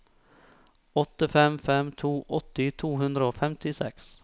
åtte fem fem to åtti to hundre og femtiseks